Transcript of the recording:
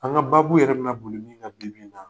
An ka baabu yɛrɛ bi na boli min kan bi bi in na